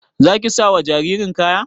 Za ki sa wa jaririn kaya?